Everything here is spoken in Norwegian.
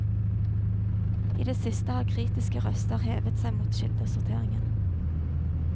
I det siste har kritiske røster hevet seg mot kildesorteringen.